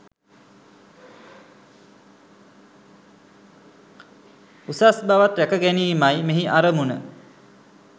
උසස් බවත් ‍රැක ගැනීමයි මෙහි අරමුණ.